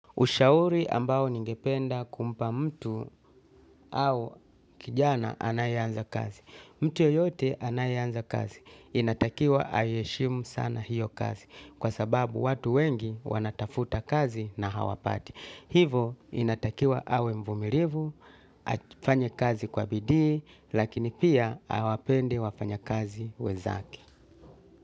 Ushauri ambao ningependa kumpa mtu au kijana anayeanza kazi. Mtu yoyote anayeanza kazi. Inatakiwa aiheshimu sana hiyo kazi. Kwa sababu watu wengi wanatafuta kazi na hawapati. Hivo inatakiwa awe mvumilivu, afanye kazi kwa bidii, lakini pia awapende wafanyakazi wenzake.